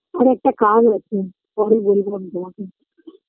আরে একটা কাজে আছে পরে বলবো আমি তোমাকে